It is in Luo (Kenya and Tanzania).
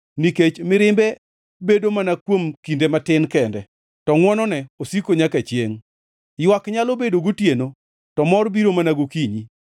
Nikech mirimbe bedo mana kuom kinde matin kende, to ngʼwonone osiko nyaka chiengʼ; ywak nyalo bedo gotieno to mor biro mana gokinyi.